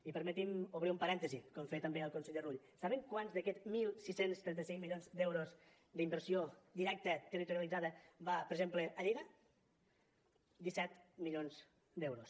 i permeti’m obrir un parèntesi com feia també el conseller rull saben quants d’aquests setze trenta cinc milions d’euros d’inversió directa territorialitzada van per exemple a lleida disset milions d’euros